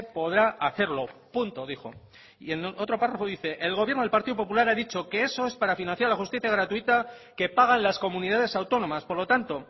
podrá hacerlo punto dijo y en otro párrafo dice el gobierno del partido popular ha dicho que eso es para financiar la justicia gratuita que pagan las comunidades autónomas por lo tanto